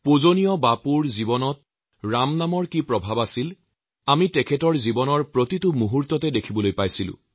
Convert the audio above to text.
শ্ৰদ্ধাৰ বাপুজীৰ জীৱনত ৰাম নামৰ মাহাত্ম্য কিমান আছিল তাক আমি তেওঁৰ জীৱনৰ প্ৰতিটো মুহূৰ্ততে দেখি আহিছো